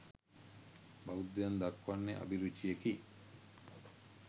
බෞද්ධයන් දක්වන්නේ අභිරුචියකි.